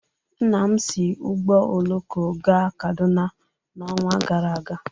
Nna m si ụgbọ oloko gaa Kaduna n'ọnwa gara aga.